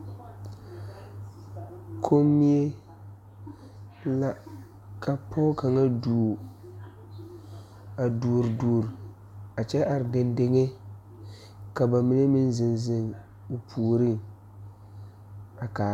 Kommie la ka pɔɔ kaŋa duore a duore duore a kyɛ are deŋdeŋe ka ba mine meŋ zeŋ zeŋ o puoriŋ a kaara.